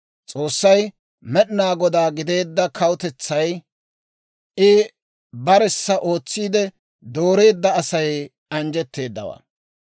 S'oossay Med'inaa Godaa gideedda kawutetsay, I baressa ootsiide dooreedda Asay anjjetteedawaa.